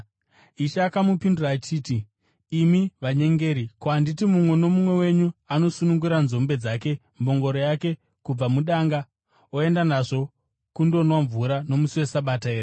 Ishe akamupindura achiti, “Imi vanyengeri! Ko, handiti mumwe nomumwe wenyu anosunungura nzombe kana mbongoro yake kubva mudanga, oenda nazvo kundonwa mvura nomusi weSabata here?